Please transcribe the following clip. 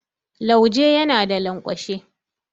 Lauje yana da lanƙwashe.